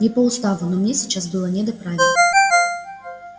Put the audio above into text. не по уставу но мне сейчас было не до правил